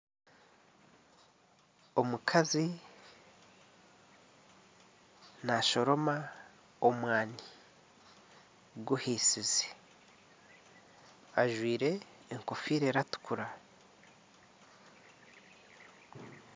Omukazi naashoroma omwani guhiisize ajwaire enkofiira eratukura.